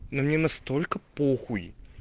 но мне настолько по хуй